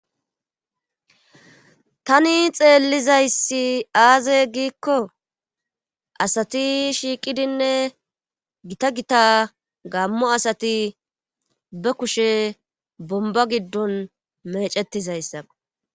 Tani xeellizayssi aaze giikko asati shiiqidinne gita gita gaammo asati be kushe bomba giddon mecetizayssakko.